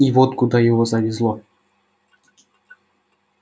и вот куда его завезло